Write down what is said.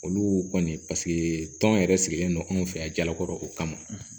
Olu kɔni paseke tɔn yɛrɛ sigilen don anw fɛ yan jalakɔrɔw kama